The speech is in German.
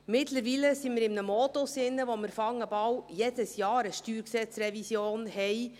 Mittlerweile sind wir in einem Modus, in dem wir bald jedes Jahr eine StG-Revision haben.